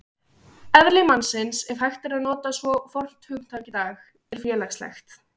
Eðli mannsins, ef hægt er að nota svo fornt hugtak í dag, er félagslegt.